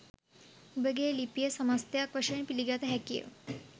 උඹගේ ලිපිය සමස්තයක් වශයෙන් පිළිගත හැකිය